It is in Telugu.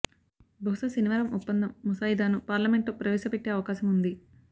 బహుశా శనివారం ఒప్పందం ముసాయిదాను పార్లమెంట్లో ప్రవేశ పెట్టే అవకాశం ఉంది